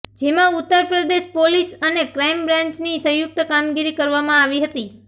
જેમાં ઉતરપ્રદેશ પોલીસ અને ક્રાઈમબ્રાંચની સંયુક્ત કામગીરી કરવામાં આવી હતી